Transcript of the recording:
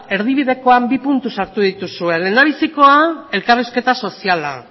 erdibidekoan bi puntu sartu dituzue lehendabizikoa elkarrizketa soziala